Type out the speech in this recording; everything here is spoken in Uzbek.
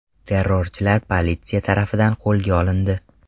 Terrorchilar politsiya tarafidan qo‘lga olindi.